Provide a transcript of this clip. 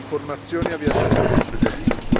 le informazioni a viaggiatori e cittadini